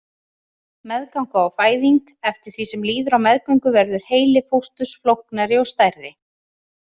Meðganga og fæðing Eftir því sem líður á meðgöngu verður heili fósturs flóknari og stærri.